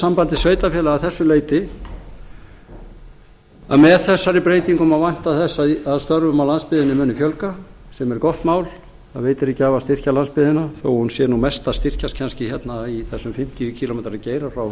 sambandi sveitarfélaga að þessu leyti að með þessari breytingu má vænta þess að störfum á landsbyggðinni muni fjölga sem er gott mál það veitir ekki af að styrkja landsbyggðina þó að hún sé nú mest að styrkjast kannski hérna í þessum fimmtíu kílómetra geira frá